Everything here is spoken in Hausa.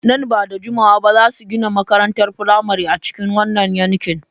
Nan ba da jimawa ba za su gina makarantar firamare a cikin wannan yankin.